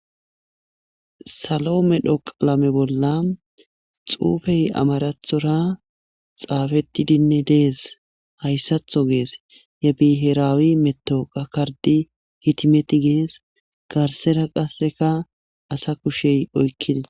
Salo medho qalame bolla xuufey amarathora xaafetidinne dees hayssatho gees ye biheraawi meto qakardi hitimeti gees garsera qasseka asa kushey oykkidia..